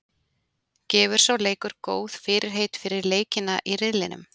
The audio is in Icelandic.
Gefur sá leikur góð fyrirheit fyrir leikina í riðlinum?